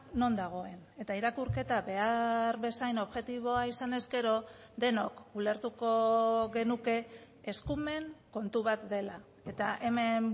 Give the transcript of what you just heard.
non dagoen eta irakurketa behar bezain objektiboa izan ezkero denok ulertuko genuke eskumen kontu bat dela eta hemen